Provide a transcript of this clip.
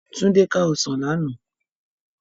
Tunde ká òsán làná